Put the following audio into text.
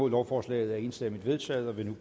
lovforslaget er enstemmigt vedtaget med en